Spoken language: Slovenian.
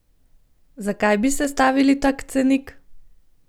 Zakaj bi sestavili tak cenik?